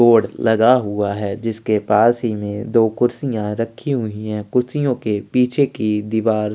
board लगा हुआ है जिसके पास ही में दो कुर्सियाँ रखी हुई है कुर्सियों के पीछे की दीवार --